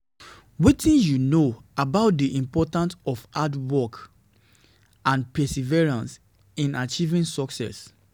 wetin you know wetin you know about di importance of hard work and perseverance in achieving success?